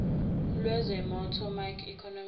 lwezomnotho macro economic